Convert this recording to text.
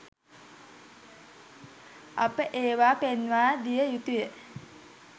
අප ඒවා පෙන්වාදිය යුතුය